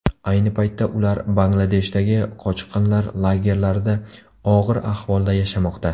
Ayni paytda ular Bangladeshdagi qochqinlar lagerlarida og‘ir ahvolda yashamoqda.